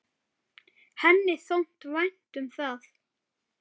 Henni þótti vænt um það.